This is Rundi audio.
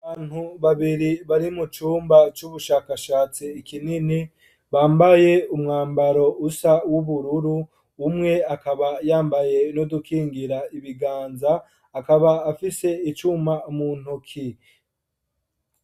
Abantu Babiri bari mucumba cubushakashatsi kinini, Bambaye umwambaro usa Ubururu, Umwe akaba yambaye nudukingira ibiganza, akaba afise icuma muntoki.